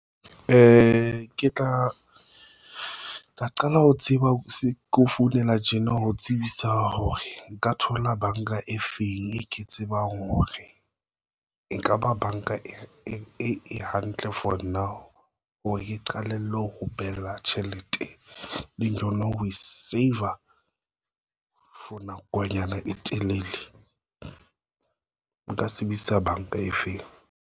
Ke tla qala ho tseba hore keo founela tjena ho tsebisa hore nka thola banka e feng e ke tsebang hore ekaba banka e hantle for nna a hore qalella ho behela tjhelete leng yona ho e save-a for nakonyana e telele nka sebedisa banka efeng?